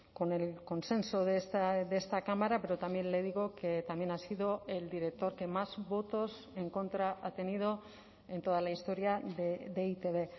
con el consenso de esta cámara pero también le digo que también ha sido el director que más votos en contra ha tenido en toda la historia de e i te be